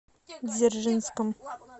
дзержинском